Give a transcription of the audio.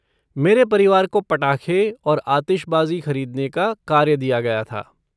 मेरे परिवार को पटाखे और आतिशबाजी ख़रीदने का कार्य दिया गया था।